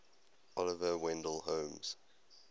oliver wendell holmes